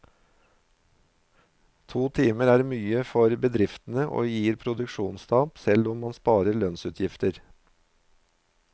To timer er for mye for bedriftene og gir produksjonstap, selv om man sparer lønnsutgifter.